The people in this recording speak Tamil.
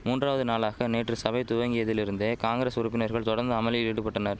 மூன்றாவது நாளாக நேற்று சபை துவங்கியதிலிருந்தே காங்கிரஸ் உறுப்பினர்கள் தொடர்ந்து அமளியில் ஈடுபட்டனர்